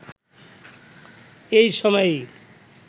এই সময়েই